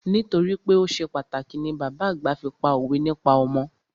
Nítorípé o ṣe pàtàkì ni bàbá àgbà fi pá òwe nípa ọmọ.